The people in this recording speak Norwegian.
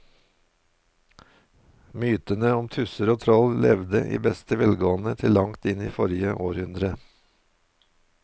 Mytene om tusser og troll levde i beste velgående til langt inn i forrige århundre.